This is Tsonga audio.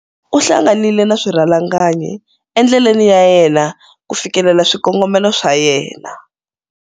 U hlanganile na swirhalanganyi endleleni ya yena ku fikelela swikongomelo swa yena.